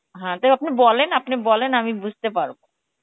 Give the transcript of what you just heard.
হ্যাঁ টাও আপনি বলেন, আপনি বলে আমি বুজতে পারবো